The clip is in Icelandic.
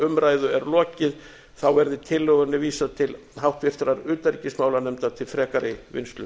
umræðu er lokið verði tillögunni vísað til háttvirtrar utanríkismálanefndar til frekari vinnslu